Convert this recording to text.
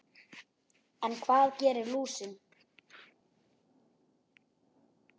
En hvað gerir lúsin?